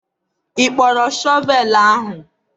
ị kpọrọ shọvel ahụ?